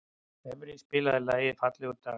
Evey, spilaðu lagið „Fallegur dagur“.